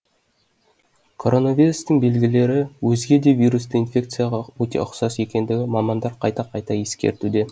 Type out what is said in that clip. короновирустың белгілері өзге де вирусты инфекцияға өте ұқсас екендігін мамандар қайта қайта ескертуде